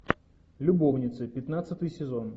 любовницы пятнадцатый сезон